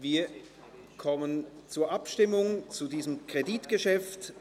Wir kommen zur Abstimmung zu diesem Kreditgeschäft.